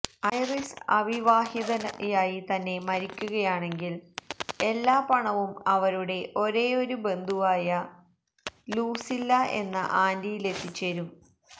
iris അവിവാഹിതയായി തന്നെ മരിക്കുകയാണെങ്കില് എല്ലാ പണവും അവരുടെ ഒരേയൊരു ബന്ധുവായ ലൂസില്ല എന്ന ആന്റിയിലെത്തിച്ചേരും